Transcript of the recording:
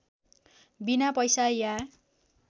बिना पैसा या